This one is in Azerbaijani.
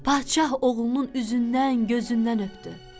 Padşah oğlunun üzündən, gözündən öpdü.